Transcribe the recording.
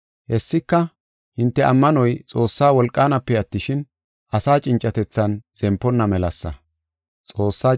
Hessika, hinte ammanoy Xoossaa wolqaanape attishin, asa cincatethan zemponna melasa.